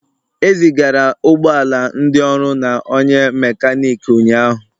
E zigara ụgbọ ala ndị ọrụ na onye mekaniki ụnyahụ.